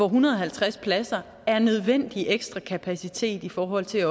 hundrede og halvtreds pladser er nødvendig ekstra kapacitet i forhold til at